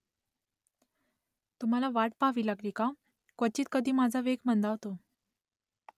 तुम्हाला वाट पहावी लागली का क्वचित कधी माझा वेग मंदावतो ?